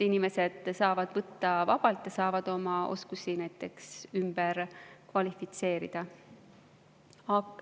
Inimesed saavad võtta vabalt ja saavad oma oskusi, näiteks ümber kvalifitseeruda.